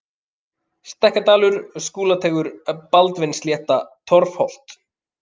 Stekkjadalur, Skúlateigur, Baldvinsslétta, Torfhollt